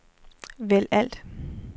vælg alt